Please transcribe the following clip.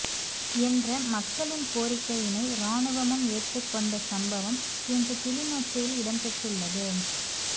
என்ற மக்களின் கோரிக்கையினை இராணுவமும் ஏற்றுக்கொண்ட சம்பவம் இன்று கிளிநொச்சியில் இடம்பெற்றுள்ளது